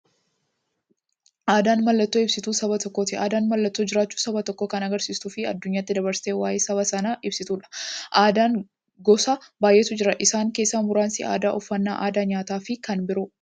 Aadaan mallattoo ibsituu saba tokkooti. Aadaan mallattoo jiraachuu saba tokkoo kan agarsiistufi addunyyaatti dabarsitee waa'ee saba sanaa ibsituudha. Aadaan gosa baay'eetu jira. Isaan keessaa muraasni aadaa, uffannaa aadaa nyaataafi kan biroo.